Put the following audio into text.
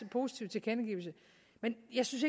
positive tilkendegivelse men jeg synes